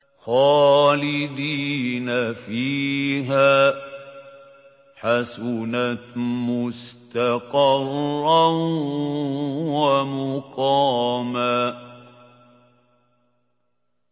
خَالِدِينَ فِيهَا ۚ حَسُنَتْ مُسْتَقَرًّا وَمُقَامًا